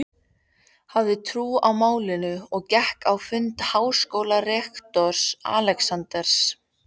hafði trú á málinu og gekk á fund háskólarektors, Alexanders